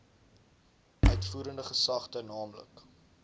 uitvoerende gesagte nl